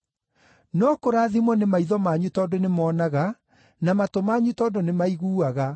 No kũrathimwo nĩ maitho manyu tondũ nĩmoonaga, na matũ manyu tondũ nĩmaiguaga.